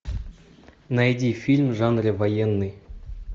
найди фильм в жанре военный